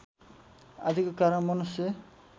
आदिको कारण मनुष्य